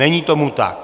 Není tomu tak.